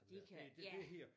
Det kan ja